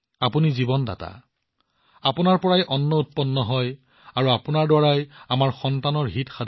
আপুনি জীৱনদাতা আপোনাৰ পৰা খাদ্য উৎপাদন কৰা হয় আৰু আপোনাৰ পৰা আমাৰ সন্তানৰ হিত হয়